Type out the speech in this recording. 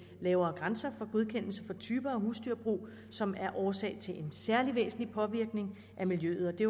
lavere grænser for godkendelse for typer af husdyrbrug som er årsag til en særlig væsentlig påvirkning af miljøet og det